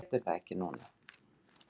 Þú getur það ekki núna?